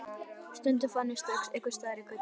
Stundum fann ég hann strax einhvers staðar í götunni.